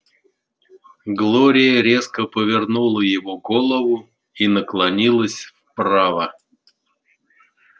глория резко повернула его голову и наклонилась вправо